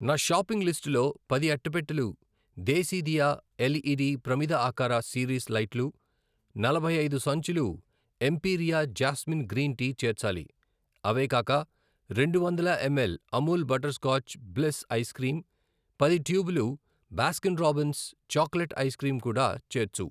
నా షాపింగ్ లిస్టులో పది అట్టపెట్టెలు దేశీదియా ఎల్ఈడి ప్రమిద ఆకార సిరీస్ లైట్లు, నలభై ఐదు సంచులు ఎంపీరియా జాస్మిన్ గ్రీన్ టీ చేర్చాలి. అవే కాక రెండు వందల ml Amul butter scotch bliss ice cream, పది ట్యూబులు Baskin Robbins chocolate ice cream కూడా చేర్చు.